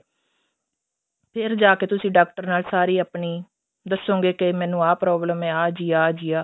ਫ਼ੇਰ ਜਾਕੇ ਤੁਸੀਂ ਡਾਕਟਰ ਨਾਲ ਸਾਰੀ ਆਪਣੀ ਦੱਸੋਗੇ ਕੇ ਮੈਨੂੰ ਆ problem ਆ ਜੀ ਆ ਜੀ ਆ